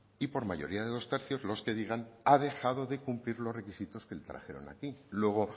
y por mayoría de dos tercios los que digan que ha dejado de cumplir los requisitos que le trajeron aquí luego